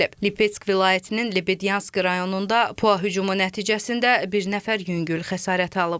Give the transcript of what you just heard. Lipetsk vilayətinin Lebedyanski rayonunda PUA hücumu nəticəsində bir nəfər yüngül xəsarət alıb.